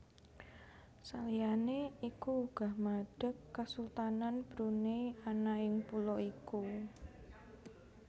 Saliyané iku uga madeg Kasultanan Brunei ana ing pulo iku